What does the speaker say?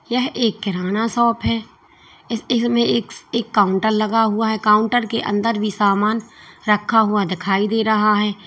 यह एक किराना शॉप है इस इसमें एक काउंटर लगा हुआ है काउंटर के अंदर भी सामान रखा हुआ दिखाई दे रहा है।